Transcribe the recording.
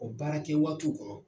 Ɔ baara kɛ waatiw kɔnɔ